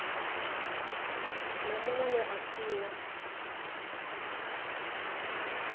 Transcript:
na muṅwe we a fhiwa